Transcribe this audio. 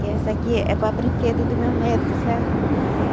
Que essa aqui é para brinquedo do meu neto, sabe?